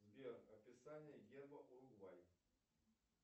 сбер описание герба уругвай